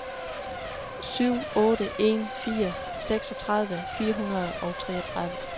syv otte en fire seksogtredive fire hundrede og treogtredive